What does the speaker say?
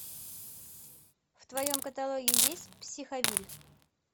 в твоем каталоге есть психовилль